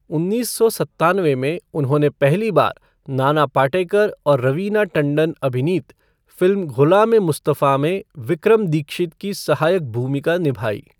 उन्नीस सौ सत्तानवे में, उन्होंने पहली बार नाना पाटेकर और रवीना टंडन अभिनीत फ़िल्म ग़ुलाम ए मुस्तफ़ा में विक्रम दीक्षित की सहायक भूमिका निभाई।